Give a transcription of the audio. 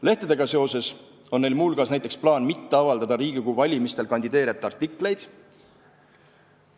Lehtedega seoses on neil muu hulgas näiteks plaan mitte avaldada Riigikogu valimistel kandideerijate artikleid.